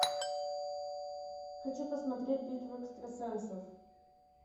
хочу посмотреть битву экстрасенсов